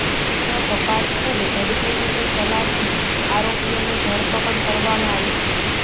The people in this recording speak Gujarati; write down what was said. તો તપાસ ખૂબ ઝડપી રીતે ચલાવીને આરોપીઓની ધરપકડ કરવામાં આવી છે